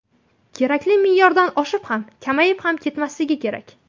Kerakli me’yordan oshib ham, kamayib ham ketmasligi kerak.